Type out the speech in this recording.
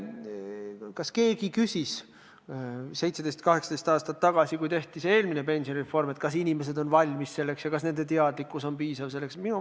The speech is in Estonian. Kas keegi küsis 17–18 aastat tagasi, kui eelmine pensionireform tehti, kas inimesed on selleks valmis ja kas nende teadlikkus on piisav?